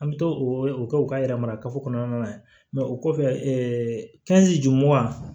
An bɛ to o kɛ u ka yɛrɛ mara kafo kɔnɔna na mɛ o kɔfɛ juguman